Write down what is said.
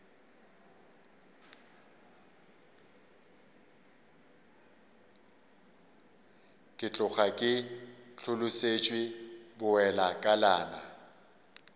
ke tloga ke hlolosetšwe bowelakalana